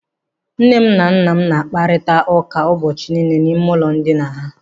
Nne m na nna m na-akparịta ụka ụbọchị niile n'ime ụlọ ndina ha.